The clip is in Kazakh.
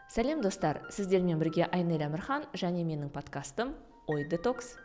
сәлем достар сіздермен бірге айнель әмірхан және менің подкастым ой детокс